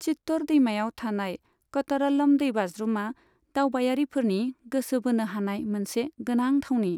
चित्तर दैमायाव थानाय कतरल्लम दैबाज्रुमा दावबायारिफोरनि गोसो बोनो हानाय मोनसे गोनां थावनि।